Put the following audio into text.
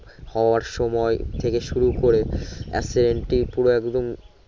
হওয়ার সময় থেকে শুরু করে accident টি পুরো একদম